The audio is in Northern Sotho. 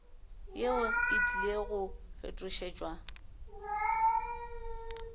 yeo e tlile go fetošetšwa